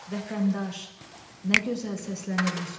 Vətəndaş, nə gözəl səslənir bu söz.